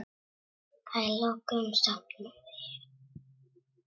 Að lokum sofnaði ég.